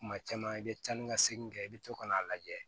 Kuma caman i bɛ taa ni ka segin kɛ i bɛ to ka n'a lajɛ